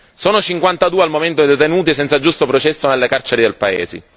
Sono cinquantadue al momento i detenuti senza giusto processo nelle carceri del paese.